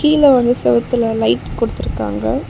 கீழ வந்து சேவுத்துல லைட் கொடுத்துருக்காங்க.